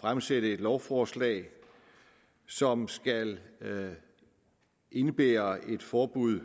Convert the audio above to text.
fremsætte et lovforslag som skal indebære et forbud